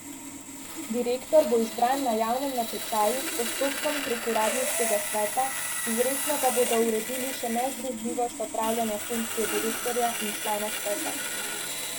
Direktor bo izbran na javnem natečaju s postopkom prek uradniškega sveta, izrecno pa bodo uredili še nezdružljivost opravljanja funkcije direktorja in člana sveta.